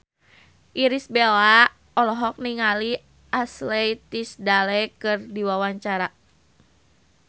Irish Bella olohok ningali Ashley Tisdale keur diwawancara